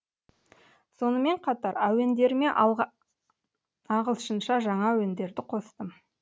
сонымен қатар әуендеріме ағылшынша жаңа әуендерді қостым